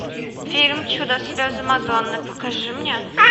фильм чудо слезы мадонны покажи мне